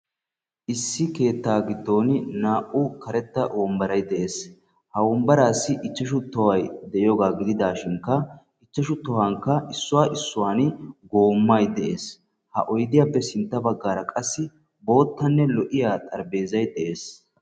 issi keettaa gidgoni naa'u karetta wonbbaray de'ees. ha wombaraassi ichashu gedee de.ees. ha wombaraassi issuwan issuwan oydee de'ees.